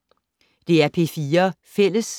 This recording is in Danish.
DR P4 Fælles